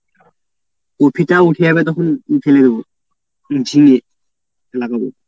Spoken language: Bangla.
কপিটা উঠে যাবে তখন ফেলে দেবে উচ্ছে লাগাবো।